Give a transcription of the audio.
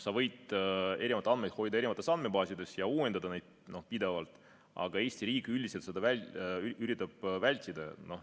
Sa võid erinevaid andmeid hoida erinevates andmebaasides ja uuendada neid pidevalt, aga Eesti riik üldiselt üritab seda vältida.